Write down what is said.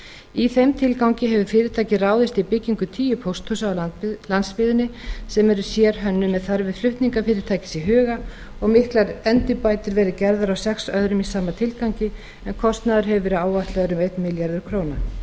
í þeim tilgangi hefur fyrirtækið ráðist í byggingu tíu pósthúsa á landsbyggðinni sem eru sérhönnuð með þarfir flutningafyrirtækis í huga og miklar endurbætur hafa verið gerðar á sex öðrum í sama tilgangi en kostnaður hefur verið áætlaður um einn milljarður króna